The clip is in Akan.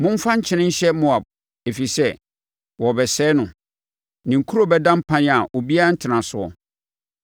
Momfa nkyene nhyɛ Moab, ɛfiri sɛ wɔrebɛsɛe no; ne nkuro bɛda mpan a obiara rentena soɔ.